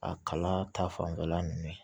A kala ta fanfɛla nunnu